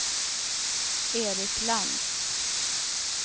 Eric Lantz